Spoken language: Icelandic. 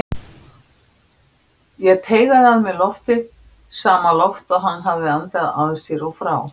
Ég teygaði að mér loftið, sama loft og hann hafði andað að sér og frá.